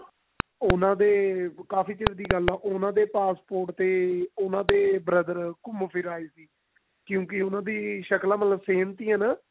ਉਹਨਾ ਦੇ ਕਾਫੀ ਚਿਰ ਦੀ ਗੱਲ ਹੈ ਉਹਨਾ ਦੇ passport ਤੇ ਉਹਨਾ ਦੇ brother ਘੁੰਮ ਫਿਰ ਆਏ ਸੀ ਕਿਉਂਕਿ ਉਹਨਾ ਦੀਆਂ ਸ਼ਕਲਾਂ ਮਤਲਬ same ਸੀਗੀਆਂ ਨਾ